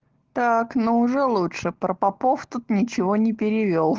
так ну уже лучше про попов тут ничего не перевёл